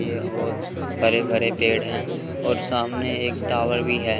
ये बहोत हरे भरे पेड़ है और सामने एक टॉवर भी है।